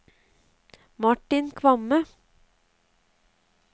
Martin Kvamme